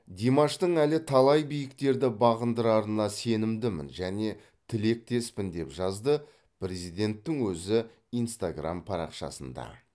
димаштың әлі талай биіктерді бағындырарына сенімдімін және тілектеспін деп жазды президенттің өзі инстаграм парақшасында